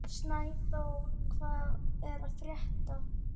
Snæþór, hvað er að frétta?